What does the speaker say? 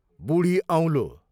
बुढी औँलो